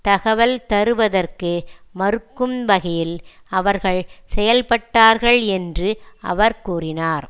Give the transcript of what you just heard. தகவல் தருவதற்கு மறுக்கும் வகையில் அவர்கள் செயல்பட்டார்கள் என்று அவர் கூறினார்